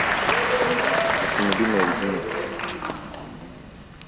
автомобильная резина